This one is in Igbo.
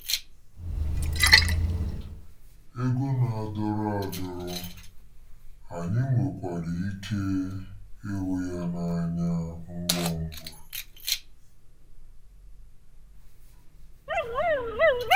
Ego na-adọrọ adọrọ,, anyị nwekwara ike ịhụ ya n'anya ngwa ngwa.